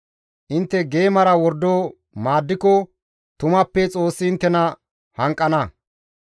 Intte geemara wordo maaddiko tumappe Xoossi inttena hanqana.